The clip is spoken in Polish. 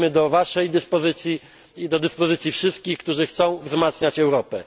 Będziemy do Waszej dyspozycji i do dyspozycji wszystkich, którzy chcą wzmacniać Europę.